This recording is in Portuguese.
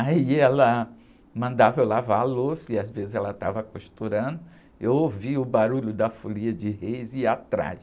Aí ela mandava eu lavar a louça e às vezes ela estava costurando, eu ouvia o barulho da folia de reis e ia atrás.